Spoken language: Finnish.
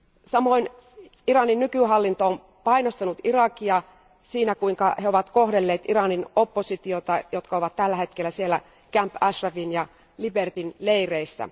Samoin Iranin nykyhallinto on painostanut Irakia siinä, kuinka he ovat kohdelleet Iranin oppositiota, jotka ovat tällä hetkellä Camp Ashrafin ja Libertyn leireissä.